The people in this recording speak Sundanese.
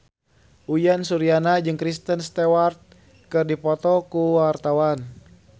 Uyan Suryana jeung Kristen Stewart keur dipoto ku wartawan